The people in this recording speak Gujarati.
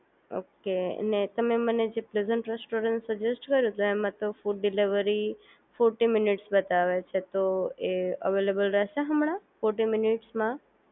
ઓકે અને તમે મને જે પ્રેઝન્ટ રેસ્ટોરન્ટ સજેસ્ટ કર્યું તો એમાં તો ફૂડ ડિલિવરી ફોર્ટી મિનિટસ બતાવે છે તો એ અવેલેબલ રહેશે હમણાં ફોર્ટી મિનિટસમાં